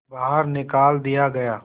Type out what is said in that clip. बाहर निकाल दिया गया